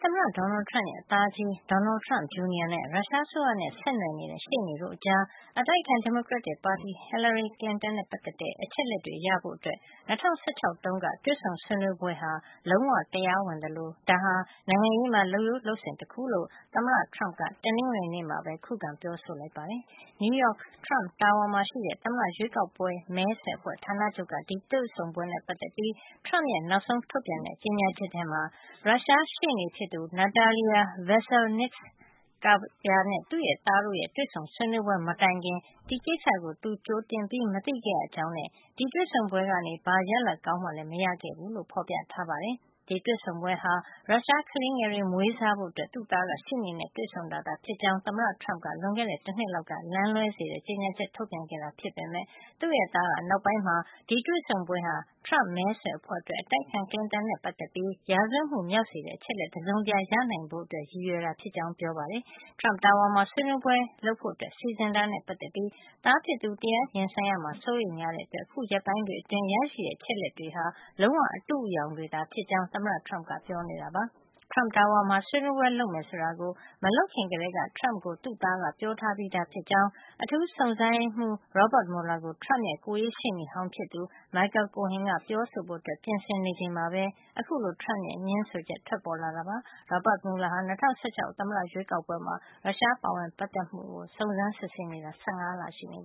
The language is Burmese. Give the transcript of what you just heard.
သမ္မတ Donald Trump ရဲ့ သားကြီး Donald Trump Jr. နဲ့ ရုရှားအစိုးရနဲ့ဆက်နွယ်နေတဲ့ ရှေ့နေတို့ကြား အတိုက်အခံ ဒီမိုကရက်တစ်ပါတီက Hillary Clinton နဲ့ ပတ်သက်တဲ့ အချက်အလက်တွေရဖို့ ၂၀၁၆ တုန်းက တွေ့ဆုံ ဆွေးနွေးပွဲဟာ လုံးဝ တရားဝင်သလို ဒါဟာ နိုင်ငံရေးမှာ လုပ်ရိုးလုပ်စဉ်တခုလို့ သမ္မတ Trump က တနင်္ဂနွေနေ့မှာပဲ ခုခံ ပြောဆိုလိုက်ပါတယ်။ နယူးရောက် Trump Tower မှာရှိတဲ့ သမ္မတရွေးကောက်ပွဲ မဲဆွယ်အဖွဲ့ဌာနချုပ်က အဲဒီတွေ့ဆုံပွဲနဲ့ ပတ်သက်ပြီး Trump ရဲ့ နောက်ဆုံးထုတ်ပြန်တဲ့ ကြေညာချက်ထဲမှာ ရုရှားရှေ့နေ Natalia Veselnitskaya နဲ့ သူ့သားတို့ တွေ့ဆုံဆွေးနွေးပွဲမတိုင်ခင် ဒီကိစ္စကို သူကြိုတင်မသိခဲ့ရကြောင်းနဲ့ ဒီတွေ့ဆုံပွဲကနေ ဘာရလဒ်ကောင်းမှလည်း မရခဲ့ကြောင်း ဖော်ပြထားပါတယ်။ ဒီတွေ့ဆုံပွဲဟာ ရုရှားကလေးငယ်တွေကို မွေးစားဖို့ သူ့သားက ရှေ့နေနဲ့ တွေ့ဆုံတာဖြစ်ကြောင်း သမ္မတ Trump က လွန်ခဲ့တဲ့ တနှစ်လောက်က လမ်းလွဲစေတဲ့ကြေညာချက် ထုတ်ပြန်ခဲ့တာဖြစ်ပေမယ့် သူ့သားက နောက်ပိုင်းမှာ ဒီတွေ့ဆုံပွဲဟာ Trump မဲဆွယ်အဖွဲ့အတွက် အတိုက်အခံ Clinton နဲ့ပတ်သက်ပြီး ရာဇဝတ်မှုမြောက်စေတဲ့ အချက်အလက် တစုံတရာရနိုင်ဖို့ ရည်ရွယ်တာဖြစ်ကြောင်း ပြောခဲ့ပါတယ်။ Trump Tower မှာ ဆွေးနွေးပွဲလုပ်ဖို့ စီစဉ်တာနဲ့ပတ်သက်ပြီး သားဖြစ်သူ တရားရင်ဆိုင်ရမှာ စိုးရိမ်တဲ့အတွက် ရရှိခဲ့တဲ့ အချက်အလက်တွေဟာ လုံးဝ အတုအယောင်တွေသဖြစ်ကြောင်း အခုရက်ပိုင်းတွေအတွင်း သမ္မတ Trump က ပြောနေတာပါ။ Trump Tower မှာ ဆွေးနွေးပွဲလုပ်မယ်ဆိုတာကို မလုပ်ခင်ကတည်းက Trump ကို သူ့သားက ပြောထားပြီးသားဖြစ်ကြောင်း အထူးစုံစမ်းစစ်ဆေးရေးမှုး Robert Mueller ကို Trump ရဲ့ ကိုယ်ရေးရှေ့နေဟောင်းဖြစ်သူ Michael Cohen က ပြောဆိုဖို့ ပြင်ဆင်နေချိန်မှာပဲ Trump ရဲ့ အခုလို ငင်းဆိုချက် ထွက်ပေါ်လာတာဖြစ်ပါတယ်။ Robert Mueller ဟာ၂၀၁၆ သမ္မတရွေးကောက်ပွဲမှာ ရုရှားရဲ့ ပါဝင်ပတ်သက်မှု ရှိမရှိ စုံစမ်းနေတာ ၁၅ လရှိနေ